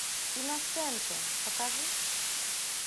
иносенте покажи